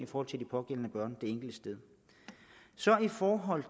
for de pågældende børn det enkelte sted i forhold